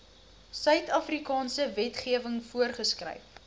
suidafrikaanse wetgewing voorgeskryf